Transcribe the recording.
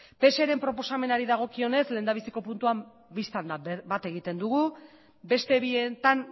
pseren proposamenari dagokionez lehendabiziko puntuan bista da bat egiten dugu beste bietan